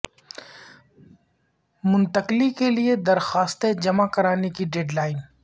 منتقلی کے لیے درخواستیں جمع کرانے کی ڈیڈ لائن